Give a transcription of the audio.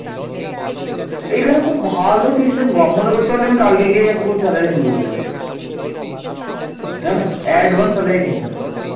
দেবপালের দাক্ষিণাত্য অভিযান সফল হয়েছিল